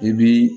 I bi